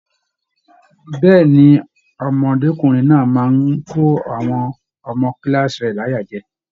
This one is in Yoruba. Bẹẹni, ọmọdekunrin náà máa n kò àwọn ọmọ kilaasi rẹ láyà jẹ.